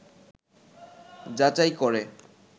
যাচাই করে